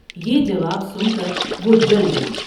یہ جواب سن کر وہ جل گئی ۔